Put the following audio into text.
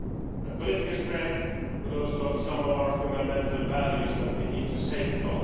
a political strength, but also some of our fundamental values that we need to safeguard.